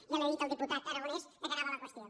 ja li ha dit el diputat aragonès de què anava la qüestió